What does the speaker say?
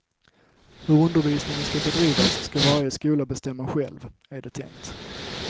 Hur undervisningen ska bedrivas ska varje skola bestämma själv, är det tänkt.